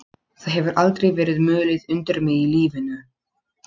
Það hefur aldrei verið mulið undir mig í lífinu.